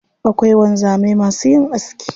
Akwai wanzamai masu yin aski.